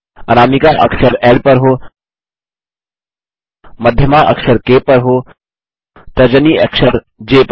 अनामिका अक्षर ल पर हो मध्यमा अक्षर क पर हो तर्जनी अक्षर ज पर हो